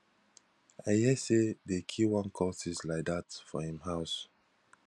i hear say dey kill one cultist like dat for him house